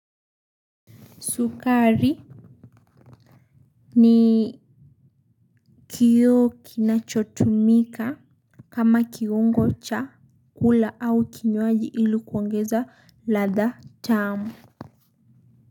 Sukari ni kiyo kinachotumika kama kiungo cha kula au kinyoaji ilu kuongeza latha tamu.